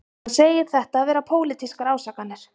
Hann segir þetta vera pólitískar ásakanir